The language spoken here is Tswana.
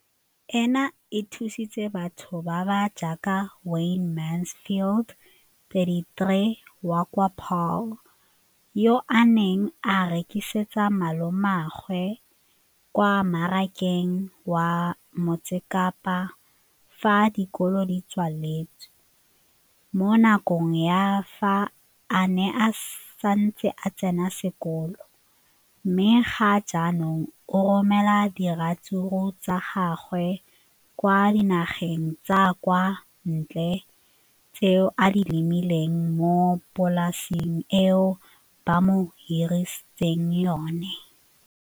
Leno le thusitse batho ba ba jaaka Wayne Mansfield, 33, wa kwa Paarl, yo a neng a rekisetsa malomagwe kwa Marakeng wa Motsekapa fa dikolo di tswaletse, mo nakong ya fa a ne a santse a tsena sekolo, mme ga jaanong o romela diratsuru tsa gagwe kwa dinageng tsa kwa ntle tseo a di lemileng mo polaseng eo ba mo hiriseditseng yona.